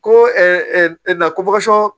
Ko na